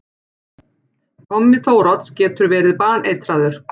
Tommi Þórodds getur verið baneitraður!